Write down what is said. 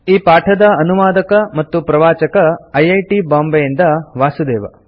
ಈ ಪಾಠದ ಅನುವಾದಕ ಮತ್ತು ಪ್ರವಾಚಕ ಐ ಐ ಟಿ ಬಾಂಬೆಯಿಂದ ವಾಸುದೇವ